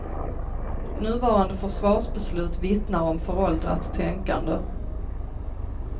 Nuvarande försvarsbeslut vittnar om föråldrat tänkande.